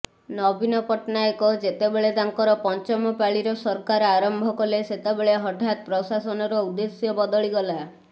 ନବୀନ ପଟ୍ଟନାୟକ ଯେତେବେଳେ ତାଙ୍କର ପଞ୍ଚମ ପାଳିର ସରକାର ଆରମ୍ଭ କଲେ ସେତେବେଳେ ହଠାତ ପ୍ରଶାସନର ଉଦ୍ଦେଶ୍ୟ ବଦଳିଗଲା